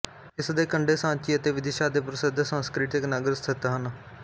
ਇਸਦੇ ਕੰਡੇ ਸਾਂਚੀ ਅਤੇ ਵਿਦਿਸ਼ਾ ਦੇ ਪ੍ਰਸਿੱਧ ਸਾਂਸਕ੍ਰਿਤੀਕ ਨਗਰ ਸਥਿਤ ਹਨ